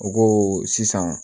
O ko sisan